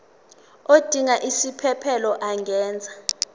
odinga isiphesphelo angenza